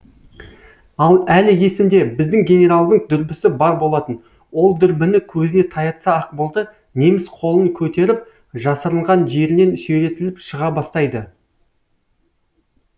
әлі есімде біздің генералдың дүрбісі бар болатын ол дүрбіні көзіне таятса ақ болды неміс қолын көтеріп жасырынған жерінен сүйретіліп шыға бастайды